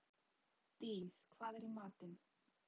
Dís, hvað er í matinn?